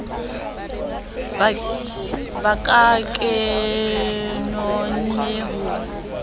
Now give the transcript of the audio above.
ba ka ke nonne ho